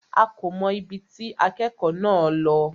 A kò mọ̀ ibi tí akẹ́kọ̀ọ́ náà lọ.